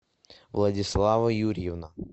владислава юрьевна